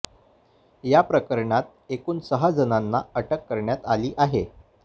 या प्रकरणी एकूण सहा जणांना अटक करण्यात आली आहे